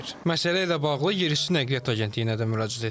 Məsələ ilə bağlı Yerüstü Nəqliyyat Agentliyinə də müraciət etdik.